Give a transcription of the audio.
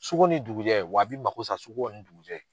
Suko ni dugujɛ w'a bi mako sa suko ni dugujɛ.